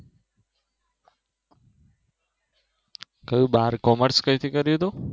કયું બાર commerce કઈક કર્યું તું